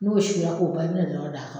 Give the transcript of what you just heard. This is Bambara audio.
N'o sira k'o ban i bɛna ɲɔ d'a ka